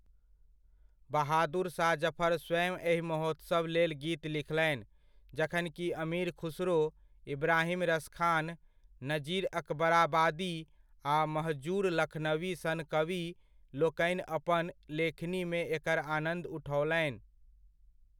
बहादुर शाह जफर स्वयं एहि महोत्सव लेल गीत लिखलनि, जखन कि अमीर खुसरो, इब्राहिम रसखान, नजीर अकबाराबादी आ महजूर लखनवी सन कवि लोकनि अपन लेखनीमे एकर आनन्द उठओलनि।